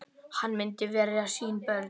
Hann myndi verja sín börn.